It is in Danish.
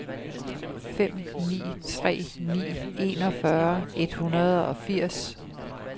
fem ni tre ni enogfyrre et hundrede og firs